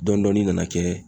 Dɔndɔni nana kɛ.